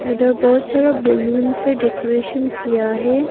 Other बहोत सारा balloon से डेकोरेशन किया है।